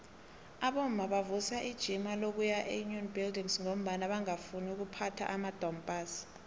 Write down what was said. abomma bavusa ijima lokuya eunion buildings ngombana bangafuni ukuphatha amadompass